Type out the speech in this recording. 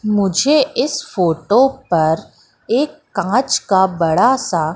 मुझे इस फोटो पर एक कांच का बड़ा सा--